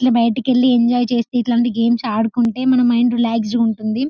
ఇట్లా బైటికి వెళ్లి ఎంజాయ్ చేసి ఇల్లాంటి గేమ్స్ ఆడుకుంటే మన మైండ్ రిలాక్స్ ఉంటుంది--